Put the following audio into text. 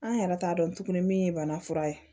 An yɛrɛ t'a dɔn tuguni min ye bana fura ye